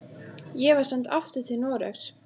Ég var send aftur til Noregs.